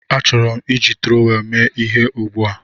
Achọrọ m iji trọwel mee ihe ugbu a